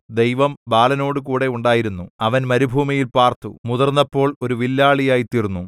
ദൈവം ബാലനോടുകൂടെ ഉണ്ടായിരുന്നു അവൻ മരുഭൂമിയിൽ പാർത്തു മുതിർന്നപ്പോൾ ഒരു വില്ലാളിയായി തീർന്നു